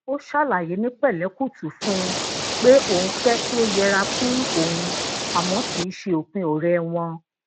ó ṣàlàyé ni pẹ̀lẹ́kùtù fún un pé òun fé kí o yera fun oun àmó kii se opin ore won